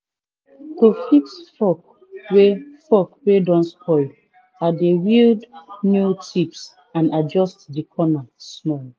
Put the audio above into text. to fix fork wey fork wey don spoil i dey weld new tips and adjust de corner small